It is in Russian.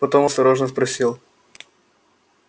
потом осторожно спросил